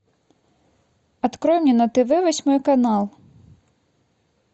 открой мне на тв восьмой канал